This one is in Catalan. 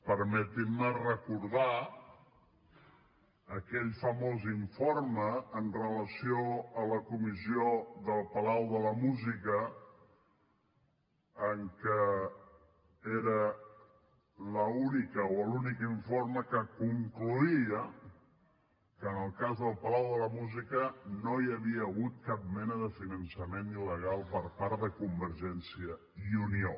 permetin me recordar aquell famós informe amb relació a la comissió del palau de la música que era l’únic informe que concloïa que en el cas del palau de la música no hi havia hagut cap mena de finançament il·legal per part de convergència i unió